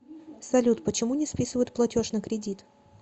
салют почему не списывают платеж на кредит